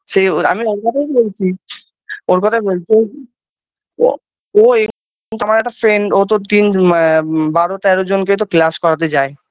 সে ওর আমি ওর কথাই বলছি ওর কথাই বলছি ও ও আমার friend ও তো তিন বারো তেরো জনকে class করাতে যায়